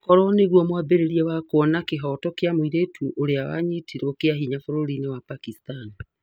Ookorwa nĩguo mwambirirĩa wa kuona kĩboto kĩa mwĩrĩtu urĩa anyitirwe kiahinya bũrũri wa Pakistan?